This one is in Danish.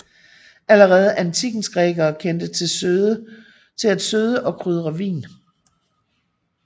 Allerede antikkens grækere kendte til at søde og krydre vin